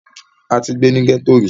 a ti gbé ní gẹ́tò rí